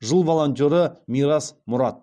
жыл волонтеры мирас мұрат